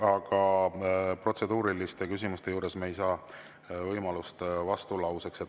Aga protseduuriliste küsimuste puhul ei ole võimalust vastulauseks.